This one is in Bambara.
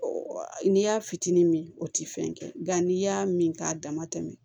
N'i y'a fitinin min o tɛ fɛn kɛ nga n'i y'a min k'a dama tɛmɛ